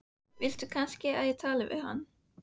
Viltu kannski að ég tali við hann?